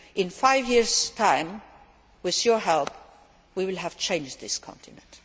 In five years' time, with your help, we will have changed this continent.